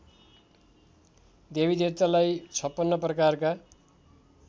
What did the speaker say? देवीदेवतालाई ५६ प्रकारका